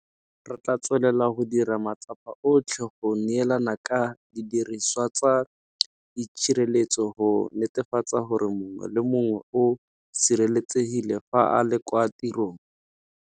Re tla tswelela go dira matsapa otlhe go neelana ka didiriswa tsa itshireletso go netefatsa gore mongwe le mongwe o sireletsegile fa a le kwa tirong.